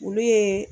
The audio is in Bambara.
Olu ye